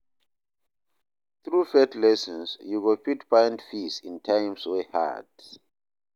Thru faith lessons, yu go fit find peace in times wey hard.